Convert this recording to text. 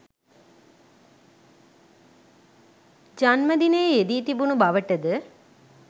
ජන්මදිනය යෙදී තිබුණු බවටද